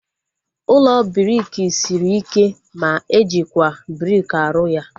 Ụlọ briki sịrị ike ma ejikwa briki aru ya